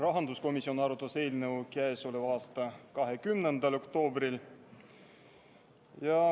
Rahanduskomisjon arutas eelnõu k.a 20. oktoobril.